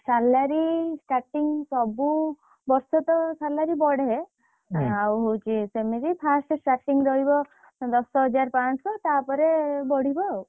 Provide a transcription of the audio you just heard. Salary starting ସବୁ ବର୍ଷ ତ salary ବଢେ, ଆଉ ହଉଛି ସେମିତି first starting ରହିବ ଦଶହଜାର ପାଞ୍ଚଶହ ତାପରେ ବଢିବ ଆଉ,